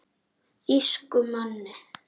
Þýskum manni.